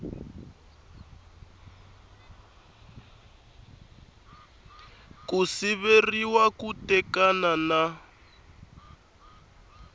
ku siveriwa ku tekana na